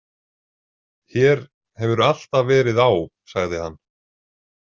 Hér hefur alltaf verið á, sagði hann.